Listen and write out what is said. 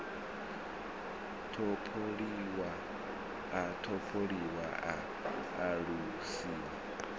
topoliwa a tholiwa a alusiwa